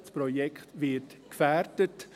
Das Projekt wird gefährdet.